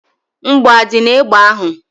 Mgbọ adị n'egbe ahụ?